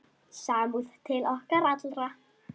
Samúð til okkar allra.